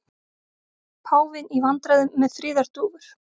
Páfinn í vandræðum með friðardúfur